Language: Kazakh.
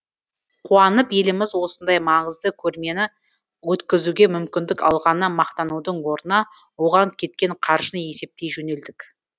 қуанып еліміз осындай маңызды көрмені өткізуге мүмкіндік алғанына мақтанудың орнына оған кеткен қаржыны есептей жөнелдік